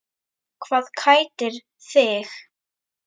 Hvað kætir þig?